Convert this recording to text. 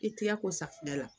I tɛgɛ ko safunɛ la